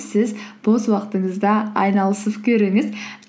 сіз бос уақытыңызда айналысып көріңіз